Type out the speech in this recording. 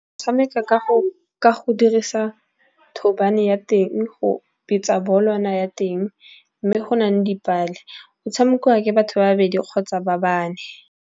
Tshameka ka go dirisa thobane ya teng go betsa bolwana ya teng mme go nang dipale. O tshamekiwa ke batho babedi kgotsa ba bane.